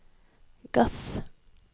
gass